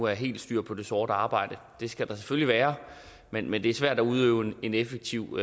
er helt styr på det sorte arbejde det skal der selvfølgelig være men men det er svært at udøve en effektiv